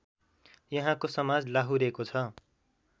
यहाँको समाज लाहुरेको छ